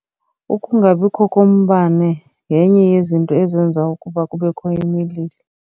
Ukungabikho kombane yenye yezinto ezenza ukuba kubekho imililo.